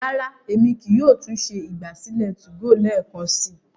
rara, Èmi kìí yóò tún ṣe ìgbàsílẹ̀ 2go lẹẹkansi